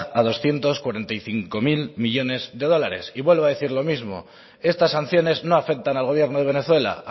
a doscientos cuarenta y cinco mil millónes de dólares y vuelvo a decir lo mismo estas sanciones no afectan al gobierno de venezuela